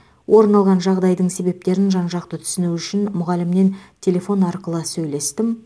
орын алған жағдайдың себептерін жан жақты түсіну үшін мұғалімнен телефон арқылы сөйлестім